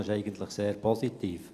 Dies ist eigentlich sehr positiv.